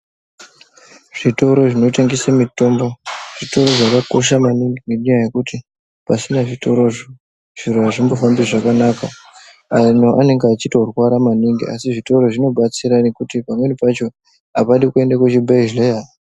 Zvitoro zvinotengese mitombo zvitoro zvakakosha maningi nenyaya yekuti pasina zvitorozvo zviro hazvimbofambi zvakanaka. Anhu anenge achitorwara maningi asi zvitoro zvinobatsira nekuti pamweni pacho hapadi kuende kuzvibhedhleya.